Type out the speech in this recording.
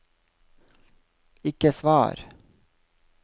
ikke svar